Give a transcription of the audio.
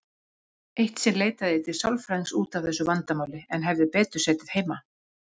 Eitt sinn leitaði ég til sálfræðings út af þessu vandamáli, en hefði betur setið heima.